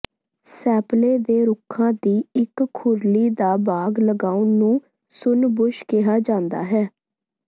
maple ਦੇ ਰੁੱਖਾਂ ਦੀ ਇੱਕ ਖੁਰਲੀ ਦਾ ਬਾਗ਼ ਲਗਾਉਣ ਨੂੰ ਸੁੰਨ ਬੁਸ਼ ਕਿਹਾ ਜਾਂਦਾ ਹੈ